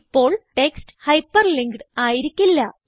ഇപ്പോൾ text hyperlinked ആയിരിക്കില്ല